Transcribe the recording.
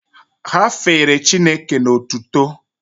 Ha fere Chineke n'otuto